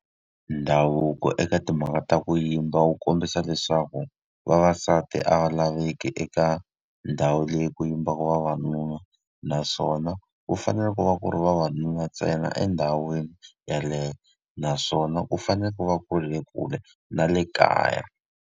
Ndhavuko eka timhaka ta ku yimba wu kombisa leswaku vavasati a va laveki eka ndhawu leyi ku yimbaka vavanuna, naswona ku fanele ku va ku ri vavanuna ntsena endhawini yeleyo. Naswona ku fanele ku va ku ri le kule na le kaya.